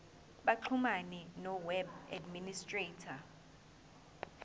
baxhumane noweb administrator